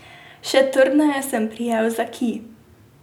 Še trdneje sem prijel za kij.